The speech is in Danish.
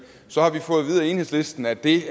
så har vi fået vide af enhedslisten at det